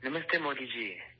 نمستے Modi جی!